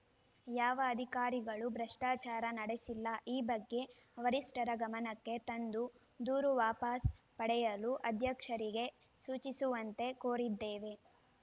ಯಾವ ಅಧಿಕಾರಿಗಳೂ ಭ್ರಷ್ಟಾಚಾರ ನಡೆಸಿಲ್ಲ ಈ ಬಗ್ಗೆ ವರಿಷ್ಟರ ಗಮನಕ್ಕೆ ತಂದು ದೂರು ವಾಪಾಸ್‌ ಪಡೆಯಲು ಅಧ್ಯಕ್ಷರಿಗೆ ಸೂಚಿಸುವಂತೆ ಕೋರಿದ್ದೇವೆ